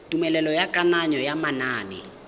tumelelo ya kananyo ya manane